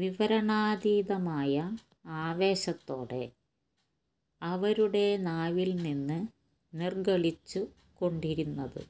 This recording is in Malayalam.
വിവരണാതീതമായ ആവേശത്തോടെ അവരുടെ നാവില്നിന്ന് നിര്ഗളിച്ചുകൊണ്ടിരുന്നത്